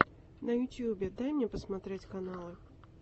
на ютюбе дай мне посмотреть каналы